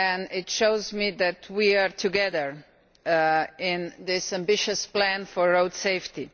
It shows me that we are together in this ambitious plan for road safety.